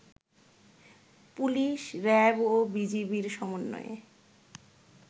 police, RAB ও বিজিবির সমন্বয়ে